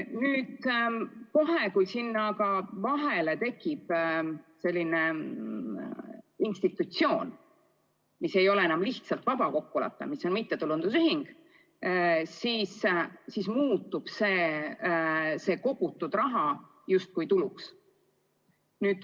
Kohe, kui sinna vahele tekib institutsioon mittetulundusühingu näol, kui tegu ei ole enam lihtsalt vaba kokkuleppega, siis muutub selliselt kogutud raha justkui tuluks.